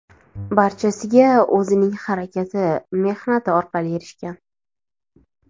Barchasiga o‘zining harakati, mehnati orqali erishgan.